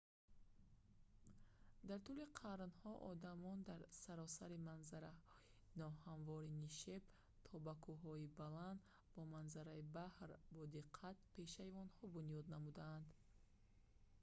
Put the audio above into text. дар тӯли қарнҳо одамон дар саросари манзараи ноҳамвори нишеб то ба кӯҳҳои баланд бо манзараи баҳр бодиққат пешайвонҳо бунёд намуданд